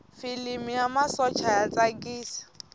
filimi ya masocha ya tsakisa